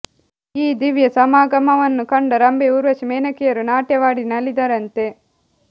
ಈ ದಿವ್ಯ ಸಮಾಗಮವನ್ನು ಕಂಡ ರಂಭೆ ಊರ್ವಶಿ ಮೇನಕೆಯರು ನಾಟ್ಯವಾಡಿ ನಲಿದರಂತೆ